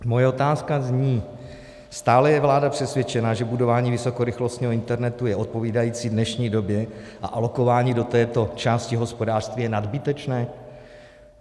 Moje otázka zní: Stále je vláda přesvědčena, že budování vysokorychlostního internetu je odpovídající dnešní době a alokování do této části hospodářství je nadbytečné?